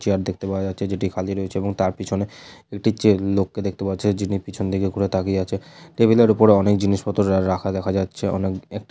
Chair দেখতে পাওয়া যাচ্ছে যেটি খালি রয়েছে। এবং তার পেছনে একটি চে লোক কে দেখতে পাওয়া যাচ্ছে যিনি পিছন দিকে করে তাকিয়ে আছে। টেবিলের ওপর অনেক জিনিসপত্র রাখা দেখা যাচ্ছে অনেক এক--